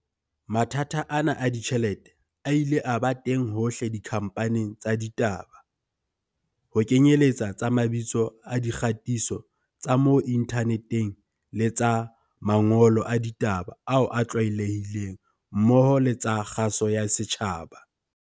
Mathata ana a ditjhelete a ile a ba teng hohle dikhamphaning tsa ditaba, ho kenyeletsa tsa mabitso a di kgatiso tsa mo inthaneteng le tsa mangolo a ditaba ao a tlwaelehileng mmoho le tsa kgaso ya setjhaba.